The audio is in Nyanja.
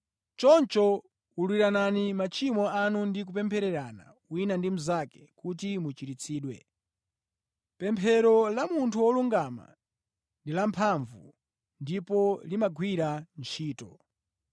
Choncho, ululiranani machimo anu ndi kupemphererana wina ndi mnzake kuti muchiritsidwe. Pemphero la munthu wolungama ndi lamphamvu ndipo limagwira ntchito.